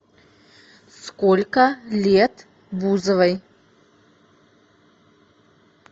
сколько лет бузовой